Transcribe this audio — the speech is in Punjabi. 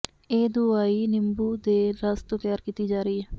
ਇਹ ਦੁਆਈ ਨਿੰਬੂ ਦੇ ਰਸ ਤੋਂ ਤਿਆਰ ਕੀਤੀ ਜਾ ਰਹੀ ਹੈ